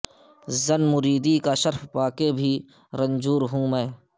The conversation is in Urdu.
زن مریدی کا شرف پا کے بھی رنجور ہوں میں